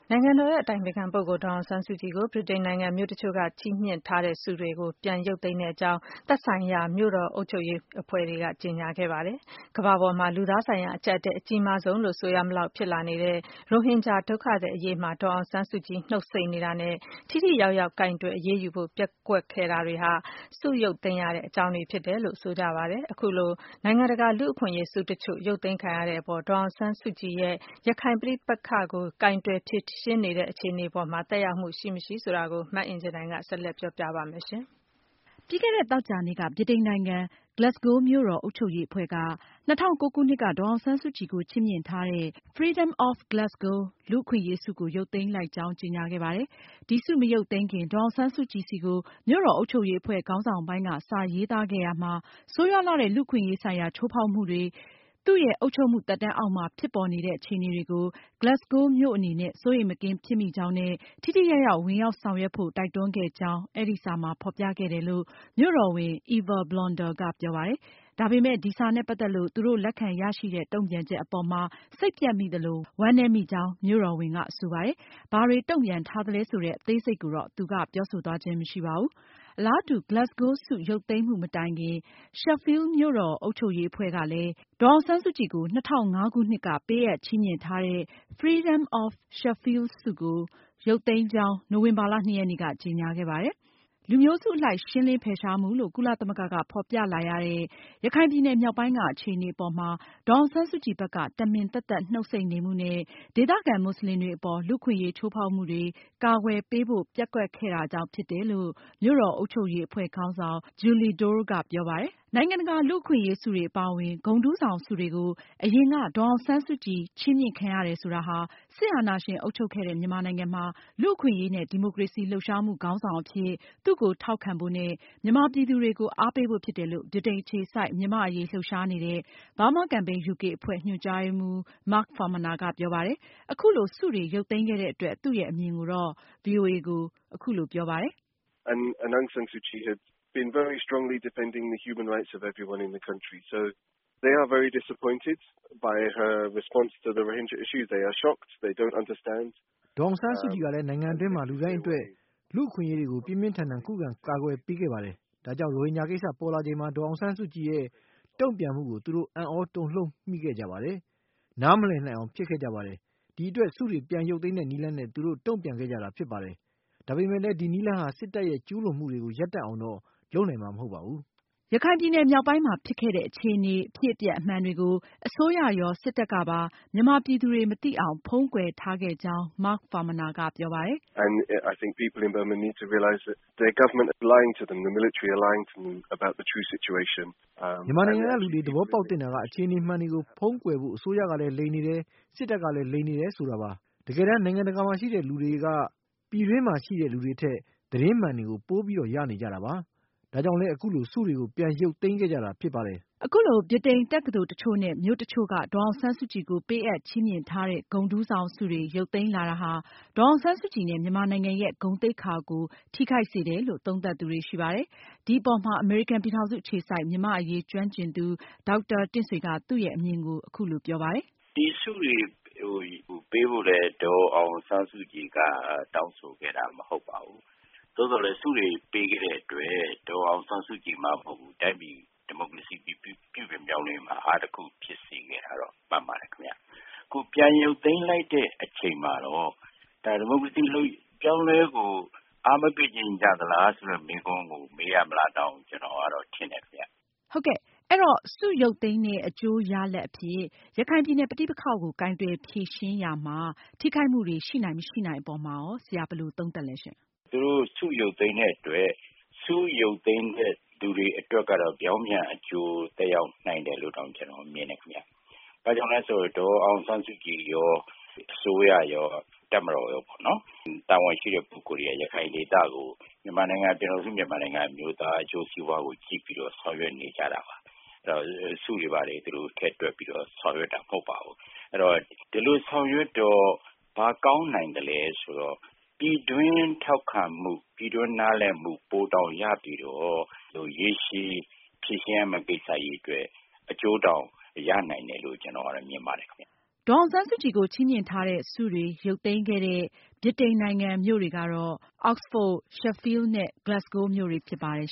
နိုင်ငံတော်အတိုင်ပင်ခံပုဂ္ဂိုလ် ဒေါ်အောင်ဆန်းစုကြည်ကို သူတို့ ချီးမြှင့်ထားတဲ့ လူ့အခွင့်အရေးဆုတွေကို ပြန်ရုပ်သိမ်းကြောင်း မြို့တော်အုပ်ချုပ်ရေးအဖွဲ့တွေက ကြေညာခဲ့ကြပါတယ်။ ကမ္ဘာပေါ်မှာ လူသားချင်းဆိုင်ရာ အကျပ်အတည်းအကြီးမားဆုံးဖြစ်လာတဲ့ ရိုဟင်ဂျာဒုက္ခသည်အရေး အပေါ် ဒေါ်အောင်ဆန်းစုကြည်ရဲ့ နှုတ်ဆိတ်နေမှုနဲ့ ထိထိရောက်ရောက် အရေးယူကိုင်တွယ်ဖို့ ပျက်ကွယ်မှုတွေဟာ ဆုရုပ်သိမ်းရတဲ့အကြောင်းအရင်းတွေဖြစ်တယ်လို့ဆိုပါတယ်။ အခုလို နိုင်ငံတကာလူ့အခွင့်အရေးဆု တချို့ ရုပ်သိမ်းခံရတဲ့အတွက် ဒေါ်အောင်ဆန်းစုကြည်ရဲ့ ရခိုင်ပြည်နယ်ပဋိပက္ခ ကိုင်တွယ်ဖြေရှင်းမှုအပေါ်မှာ ထိရောက်မှုတွေရှိနိုင်၊ မရှိနိုင် မအင်ကြင်းနိုင်က ဆက်လက်တင်ပြမှာပါ။ ပြီးခဲ့တဲ့ သောကြာနေ့က ဗြိတိန်နိုင်ငံ Glasgow မြို့တော်အုပ်ချုပ်ရေးအဖွဲ့က ၂၀၀၉ခုနှစ်က ဒေါ်အောင်ဆန်းစုကြည်ကို ချီးမြှင့်ထားတဲ့ Freedom of Glasgow လူ့အခွင့်အရေးဆုကို ရုပ်သိမ်းလိုက်ကြောင်း ကြေညာခဲ့ပါတယ်။ ဒီဆုမရုပ်သိမ်းခင် ဒေါ်အောင်ဆန်းစုကြည်ဆီကို မြို့တော်အုပ်ချုပ်ရေးအဖွဲ့ခေါင်းဆောင်ပိုင်းက စာရေးသားခဲ့ရာမှာ ဆိုးရွားလှတဲ့ လူ့အခွင့်အရေးဆိုင်ရာ ချိုးဖောက်မှုတွေ သူရဲ့ အုပ်ချုပ်မှုသက်တမ်းအောက်မှာ ဖြစ်ပေါ်နေတဲ့အခြေအနေတွေကို Glasgow မြို့အနေနဲ့ စိုးရိမ်မကင်းဖြစ်မိကြောင်းနဲ့ ထိထိရောက်ရောက်ကြားဝင်ဆောင်ရွက်ဖို့ တိုက်တွန်းခဲ့ကြောင်း အဲဒီစာမှာ ဖေါ်ပြခဲ့တယ်လို့ မြို့တော်ဝန် Eva Bolander ကပြောပါတယ်။ ဒါပေမယ့် ဒီစာနဲ့ ပတ်သက်လို့ သူတို့ လက်ခံရရှိတဲ့ တုန့်ပြန်ချက်အပေါ်မှာ စိတ်ပျက်မိသလို၊ ဝမ်းနည်းမိကြောင်း မြို့တော်ဝန်ကဆိုပါတယ်။ ဘာတွေ တုန့်ပြန်ထားသလဲဆိုတဲ့ အသေးစိတ်ကိုတော့ သူက ပြောဆိုသွားခြင်းမရှိပါဘူး။ အလားတူ Glasgow ဆု ရုပ်သိမ်းမှုမတိုင်ခင် Sheffield မြို့တော်အုပ်ချုပ်ရေးအဖွဲ့ကလည်း ဒေါ်အောင်ဆန်းစုကြည်ကို ၂၀၀၅ခုနှစ်က ပေးအပ်ချီးမြှင့်ထားတဲ့ Freedom of Sheffield ဆုကို ရုပ်သိမ်းကြောင်း နိုဝင်ဘာလ ၂ ရက်နေ့က ကြေညာခဲ့ပါတယ်။ လူမျိုးစုအလိုက် ရှင်းလင်းဖယ်ရှားမှုလို့ ကုလသမဂ္ဂက ဖေါ်ပြလာရတဲ့ ရခိုင်ပြည်နယ်မြောက်ပိုင်းက အခြေအနေအပေါ်မှာ ဒေါ်အောင်ဆန်းစုကြည်ဘက်က တမင်သတ်သတ် နှုတ်ဆိတ်နေမှုနဲ့ ဒေသခံမွတ်စလင်တွေအပေါ် လူ့အခွင့်အရေးချိုးဖောက်မှုတွေ ကာကွယ်ပေးဖို့ ပျက်ကွက်ခဲ့တာကြောင့်ဖြစ်တယ်လို့ မြို့တော်အုပ်ချုပ်ရေးအဖွဲ့ခေါင်းဆောင် Julie Dore ကပြောပါတယ်။ နိုင်ငံတကာလူ့အခွင့်အရေးဆုတွေအပါအဝင် ဂုဏ်ထူးဆောင်ဆုတွေကို အရင်က ဒေါ်အောင်ဆန်းစုကြည် ချီးမြှင့်ခံရတယ်ဆိုတာဟာ စစ်အာဏရှင်အုပ်ချုပ်ခဲ့တဲ့ မြန်မာနိုင်ငံမှာ လူ့အခွင့်အရေးနဲ့ ဒီမိုကရေစီ လှုပ်ရှားမှု ခေါင်းဆောင်အဖြစ် သူ့ကို ထောက်ခံဖို့နဲ့ မြန်မာပြည်သူတွေကို အားပေးဖို့ ဖြစ်တယ်လို့ ဗြိတိန်အခြေစိုက် မြန်မာ့အရေးလှုပ်ရှားနေတဲ့ Burma Campaign UK အဖွဲ့ ညွန်ကြားရေးမှူး Mark Farmaner ကပြောပါတယ်။ အခုလို ဆုတွေရုပ်သိမ်းခဲ့တဲ့အတွက် သူရဲ့အမြင်ကို အခုလို ဗွီအိုအေကိုပြောပါတယ်။ “ဒေါ်အောင်ဆန်းစုကြည်ကလည်း နိုင်ငံတွင်းမှာ လူတိုင်းအတွက် လူ့အခွင့်အရေးတွေကို ပြင်းပြင်းထန်ထန်ခုခံကာကွယ်ပေးခဲ့ပါတယ်။ ဒါကြောင့် ရိုဟင်ဂျာကိစ္စ ပေါ်လာချိန်မှာ ဒေါ်အောင်ဆန်းစုကြည်ရဲ့ တုန့်ပြန်မှုကို သူတို့ အံသြတုန်လှုပ်မိခဲ့ကြပါတယ်။ နားမလည်နိုင်အောင်ဖြစ်ခဲ့ကြပါတယ်။ အဲဒီအတွက် ဆုတွေပြန်ရုပ်သိမ်းတဲ့နည်းလမ်းနဲ့ သူတို့ တုန့်ပြန်ခဲ့ကြတာဖြစ်ပါတယ်။ ဒါပေမယ့်လည်း ဒီနည်းလမ်းဟာ စစ်တပ်ရဲ့ ကျူးလွန်မှုတွေကို ရပ်တန့်အောင်တော့ လုပ်နိုင်မှာမဟုတ်ပါဘူး။” ရခိုင်ပြည်နယ်မြောက်ပိုင်းမှာ ဖြစ်ခဲ့တဲ့ အခြေအနေအဖြစ်အပျက်အမှန်တွေကို အစိုးရရော စစ်တပ်ကပါ မြန်မာပြည်သူတွေ မသိအောင် ဖုန်းကွယ်ထားခဲ့ကြောင်း Mark Farmaner ကပြောပါတယ်။ “မြန်မာနိုင်ငံက လူတွေ သဘောပေါက်သင့်တာက အခြေအနေမှန်တွေကို ဖုန်းကွယ်ဖို့ အစိုးရကလည်း လိမ်နေတယ်၊ စစ်တပ်ကလည်း လိမ်နေတယ်ဆိုတာပါ။ တကယ်တမ်း နိုင်ငံတကာမှာရှိတဲ့ လူတွေက ပြည်တွင်းမှာရှိတဲ့ သူတွေထက် သတင်းအမှန်တွေ ပိုပြီးရနေတာပါ။ ဒါကြောင့်လည်း အခုလို ဆုတွေကို ပြန်ရုပ်သိမ်းခဲ့ကြတာဖြစ်ပါတယ်။” အခုလို ဗြိတိန် တက္ကသိုလ်တချို့နဲ့ မြို့တချို့က ဒေါ်အောင်ဆန်းစုကြည်ကို ပေးအပ်ချီးမြှင့်ထားတဲ့ ဂုဏ်ထူးဆောင်ဆုတွေ ရုပ်သိမ်းလာတာဟာ ဒေါ်အောင်ဆန်းစုကြည်နဲ့ မြန်မာနိုင်ငံရဲ့ ဂုဏ်သိက္ခာကို ထိခိုက်စေတယ်လို့ သုံးသပ်သူတွေရှိပါတယ်။ ဒီအပေါ်မှာ အမေရိကန်ပြည်ထောင်စုအခြေစိုက် မြန်မာ့အရေးကျွမ်းကျင်သူ ဒေါက်တာတင့်ဆွေက သူရဲ့ အမြင်ကိုအခုလိုပြောပါတယ်။ “ ဒီဆုတွေကို ပေးဖို့လည်း ဒေါ်အောင်ဆန်းစုကြည် က တောင်းဆိုခဲ့တာ မဟုတ်ပါဘူး။ သို့သော်လည်း ဆုတွေပေးခဲ့တဲ့အတွက် ဒေါ်အောင်ဆန်းစုကြည် မှမဟုတ်ဘူး တိုင်းပြည်ဒီမိုကရေစီပြုပြင်ပြောင်းလဲရေးမှာ အားသာချက်တခုဖြစ်စေခဲ့တာ တော့မှန်ပါတယ်ခင်ဗျ။ အခုပြန်ရုပ်သိမ်းလိုက်တဲ့အချိန်မှာတော့ ဒါဒီမိုကရေစီအပြောင်းအလဲကို အားမပေးချင်ကြသလားဆိုတဲ့မေးခွန်းကို မေးရမလားတောင် ကျနော်ကတော့ ထင်တယ်ခင်ဗျ။ မေး။ ။ ဆုရုပ်သိမ်းတဲ့ အကျိုးရလဒ်အဖြစ် ရခိုင်ပြည်နယ်ပဋိပက္ခကို ကိုင်တွယ်ဖြေရှင်းရေးမှာ ထိခိုက်မှုတွေရှိနိုင်၊ မရှိနိုင်အပေါ်မှာ ဘယ်လို မြင်လဲရှင့်။ ဖြေ။ ။ အခု ဆုရုပ်သိမ်းတဲ့အတွက် ဆုရုပ်သိမ်းတဲ့လူတွေအတွက်ကတော့ ပြောင်းပြန်အကျိုးသက်ရောက်နိုင်တယ်လို့တောင်ကျနော်ကတော့မြင်တယ်ခင်ဗျ။ ဘာကြောင့်လဲဆိုရင် ဒေါ်အောင်ဆန်းစုကြည်ရော၊ အစိုးရရော၊ တပ်မတော်ရောပေါ့နော် တာဝန်ရှိတဲ့ ပုဂ္ဂိုလ် တွေက ရခိုင်ဒေသကို ပြည်ထောင်စုမြန်မာနိုင်ငံ အမျိုးသားအကျိုးစီးပွားကို ကြည့်ပြီးတော့ ဆောင်ရွက်နေကြတာပါ။ အဲဒီတော့ ဆုတွေဘာတွေ ထည့်တွက်ပြီးတော့ ဆောင်ရွက်တာမဟုတ်ပါဘူး။ အဲဒီတော့ ဒီလိုဆောင်ရွက်တော့ ဘာကောင်းနိုင်သလဲဆိုတော့ ပြည်တွင်းထောက်ခံမှု၊ ပြည်တွင်းနားလည်မှု ပိုတောင်ရပြီးတော့ ရေရှည်ဖြေရှင်းရမယ့် ကိစ္စတွေအတွက် အကျိုးတောင်ရနိုင်တယ်လို့ ကျနော်ကတော့ မြင်ပါတယ်ခင်ဗျ။” ဒေါ်အောင်ဆန်းစုကြည်ကို ချီးမြှင့်ထားတဲ့ ဆုတွေရုပ်သိမ်းခဲ့တဲ့ ဗြိတိန်နိုင်ငံမြို့တွေကတော့ အောက်စဖို့၊ Sheffield နဲ့ Glasgow မြို့တွေဖြစ်ပါတယ်